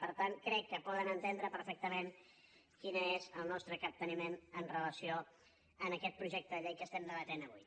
per tant crec que poden entendre perfectament quin és el nostre capteniment amb relació a aquest projecte de llei que estem debatent avui